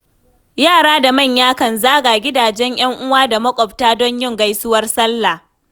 Yara da manya kan zaga gidajen 'yan uwa da maƙwabta don yin gaisuwar salla.